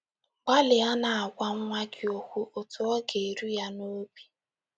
Gbalịa na - agwa nwa gị okwu otú ọ ga - eru ya n’obi